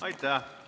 Aitäh!